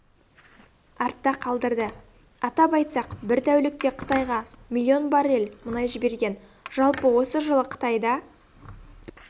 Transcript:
артта қалдырды атап айтсақ бір тәулікте қытайға млн баррель мұнай жіберген жалпы осы жылы қытайда